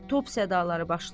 Top sədalari başlIr.